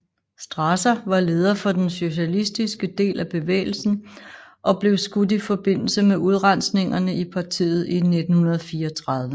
Strasser var leder for den socialistiske del af bevægelsen og blev skudt i forbindelse med udrensningene i partiet i 1934